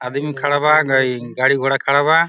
आदमी खड़ा बा गई गाड़ी घोड़ा खड़ा बा।